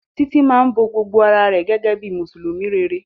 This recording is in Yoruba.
Titi má bó gbogbo àrà rẹ gégé bíi mùsùlùmí réré